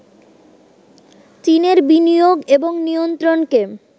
চীনের বিনিয়োগ এবং নিয়ন্ত্রণকে